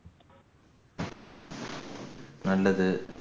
நல்லது